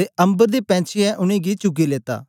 ते अम्बर दे पैंछीयैं उनेंगी चुगी लेत्ता